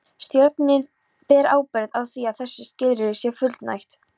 Stjórnin ber ábyrgð á því að þessu skilyrði sé fullnægt.